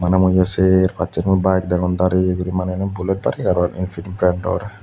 bana mui ye ser pacchen mui bayek degong dareye guri maney ubani bullettani aro empil tractor.